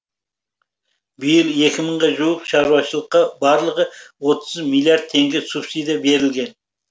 биыл екі мыңға жуық шаруашылыққа барлығы отыз миллиард теңге субсидия берілген